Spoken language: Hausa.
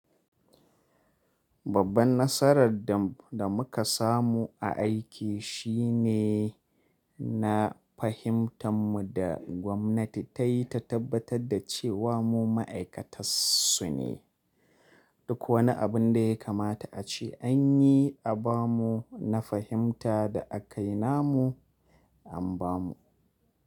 Babban nasarar da da muka samu a aiki shine na fahimtan mu da gwamnati ta yi ta tabbatar da cewa mu ma'aikatassu ne. Duk wani abin da ya kamata a ce an yi, a ba mu na fahimta da a kai na mu an ba mu.